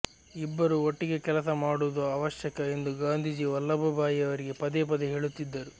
ಇಬ್ಬರೂ ಒಟ್ಟಿಗೆ ಕೆಲಸ ಮಾಡುವುದು ಅವಶ್ಯಕ ಎಂದು ಗಾಂಧೀಜಿ ವಲ್ಲಭಭಾಯಿವರಿಗೆ ಪದೇ ಪದೇ ಹೇಳುತ್ತಿದ್ದರು